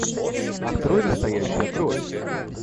открой настоящая кровь